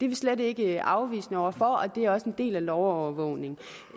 vi slet ikke afvisende over for og det er også en del af lovovervågningen